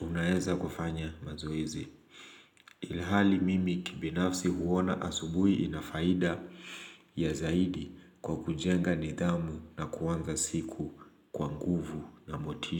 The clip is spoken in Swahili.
unaweza kufanya mazoezi ilihali mimi kibinafsi huona asubuhi inafaida ya zaidi kwa kujenga nidhamu na kuanza siku kwanguvu na motisha.